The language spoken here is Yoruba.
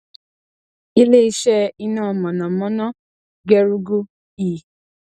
ileiṣẹ iná mọnamọná gerugu ii